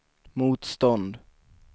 motstånd